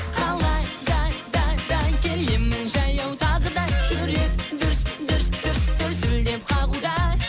қалада да да келемін жаяу тағы да жүрек дүрс дүрс дүрс дүрсілдеп қағуда